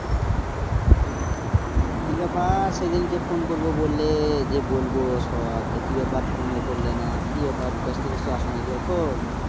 কি ব্যাপার সেই দিন কে phone করব বললে যে বলবো সব তা কি ব্যাপার phone ও করলে না কি ব্যাপার ব্যস্ত তেস্ত আছো না কি এখন